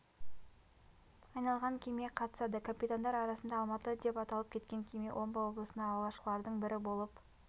айналған кеме қатысады капитандар арасында алматы деп аталып кеткен кеме омбы облысына алғашқылардың бірі болып